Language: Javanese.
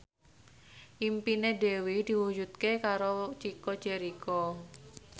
impine Dewi diwujudke karo Chico Jericho